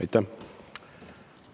Aitäh!